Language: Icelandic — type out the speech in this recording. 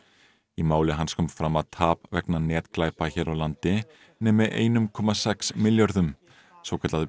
í máli hans kom fram að tap vegna netglæpa hér á landi nemi einum komma sex milljörðum svokallað